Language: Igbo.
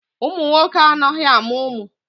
Ụmụ nwoke anaghị amụ ụmụ.